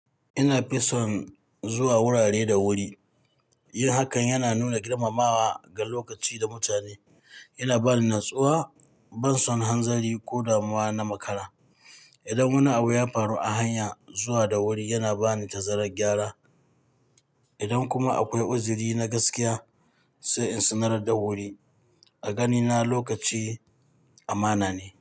Ina fison zuwa wurare da wuri. Yin hakan yana nuna girmamawa ga lokaci da mutane, yana ba ni natsuwa, ban son hanzari ko damuwa na makara. Idan wani abu ya faru a hanya, zuwa da wuri yana ba ni tazarar gyara. Idan kuma akwai uzuri na gaskiya, sai in sanar da wuri. A ganina lokaci amana ne.